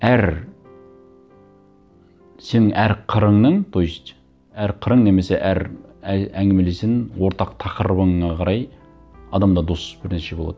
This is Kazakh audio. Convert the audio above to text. әр сен әр қырыңның то есть әр қырың немесе әр әңгімелесің ортақ тақырыбыңа қарай адамда дос бірнеше болады